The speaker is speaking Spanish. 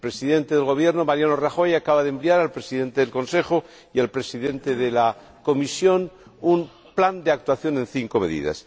El Presidente del Gobierno español, Mariano Rajoy, acaba de enviar al Presidente del Consejo y al Presidente de la Comisión un plan de actuación en cinco medidas.